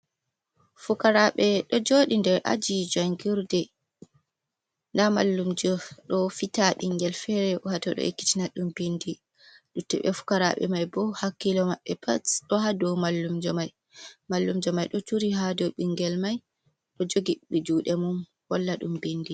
Fukaraɓe ɗo joɗi nder aji jangirde. Nda mallum jo ɗo fita ɓingel fere wato ɗo ekkitina ɗum bindi. Luttube fukaraɓe man bo hakkilo maɓɓe pat ɗo ha dow mallumjo mai. Mallum jo mai ɗo turi ha dow ɓingel mai ɗo jogi juɗe mum holla ɗum bindi.